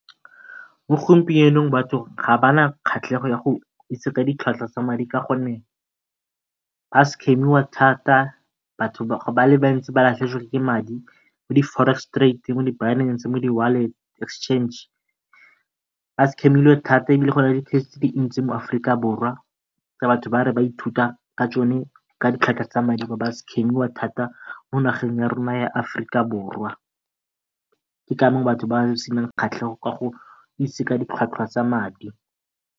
Mo gompienong batho ga ba na kgatlhego ya go itse ka ditlhwatlhwa tsa madi ka gonne ba scam-iwa thata, batho ba le bantsi ba latlhegetswe ke madi mo di forex trade, mo di Binance, mo di wallet exchange. Ba scam-ilwe thata e bile go na le tse di ntsi mo Aforika Borwa batho ba re ba ithuta ka tsone ka ba scam-iwa thata mo nageng ya rona ya Aforika Borwa, ke ka moo batho ba senang kgatlhego ka go itse ka ditlhwatlhwa tsa madi.